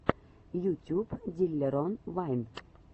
ютюб диллерон вайн